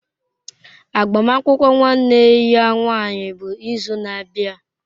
Agbamakwụkwọ nwanne ya nwanyị bụ izu na-abịa.